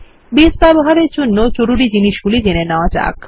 base ব্যবহারের জন্যে জরুরি জিনিস গুলো জেনে নেওয়া যাক